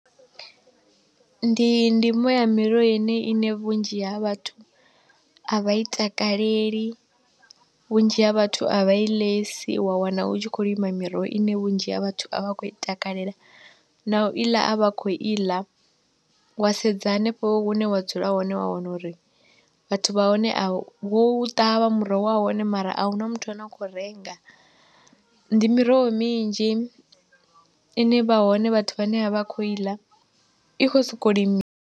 Ndi ndimo ya miroho yeneyi ine vhunzhi ha vhathu a vha i takaleli, vhunzhi ha vhathu a vha i ḽesi, wa wana u tshi khou lima miroho ine vhunzhi ha vhathu a vha khou i takalela na u i ḽa a vha khou i ḽa, wa sedza hanefho hune wa dzula hone wa wana uri vhathu vha hone a, wou ṱavha muroho wahone mara ahuna muthu ane a khou renga, ndi miroho minzhi ine vha hone vhathu vhane a vha khou i ḽa, i kho soko limi.